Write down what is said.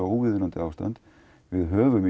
óviðunandi ástand við höfum